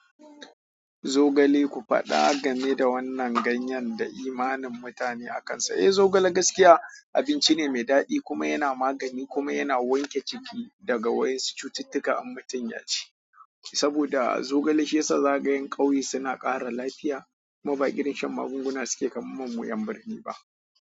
Zogale, ku faɗa game da wannan ganyen da imanin mutane akansa. Eh, zogale gaskiya abinci ne mai daɗi kuma yana magani kuma yana wanke ciki daga wasu cututtuka in mutun yaci. Saboda zogale shi ya sa zakaga 'yan ƙauye suna ƙara lafiya, kuma ba irin shan magunguna suke kamar mu nan yan birni ba.